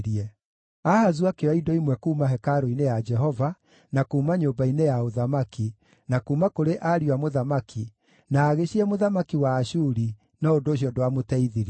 Ahazu akĩoya indo imwe kuuma hekarũ-inĩ ya Jehova, na kuuma nyũmba-inĩ ya ũthamaki, na kuuma kũrĩ ariũ a mũthamaki, na agĩcihe mũthamaki wa Ashuri, no ũndũ ũcio ndwamũteithirie.